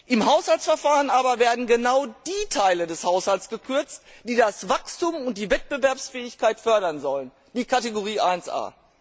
Im Haushaltsverfahren werden aber genau die Teile des Haushalts gekürzt, die das Wachstum und die Wettbewerbsfähigkeit fördern sollen die Kategorie Ia.